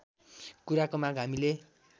कुराको माग हामीले